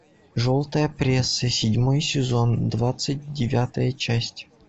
желтая пресса седьмой сезон двадцать девятая часть